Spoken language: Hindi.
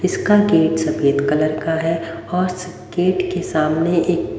इसका गेट सफेद कलर का है और सब गेट के सामने एक--